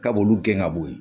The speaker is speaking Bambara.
K'a b'olu gɛn ka bɔ yen